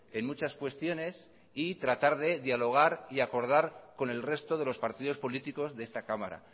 en muchas cuestiones y tratar de dialogar y acordar con el resto de los partidos políticos de esta cámara